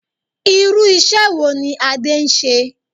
Irú ìṣe wo ní Adé ń ṣe?